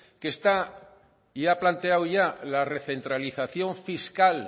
que está y ha planteado ya la recentralización fiscal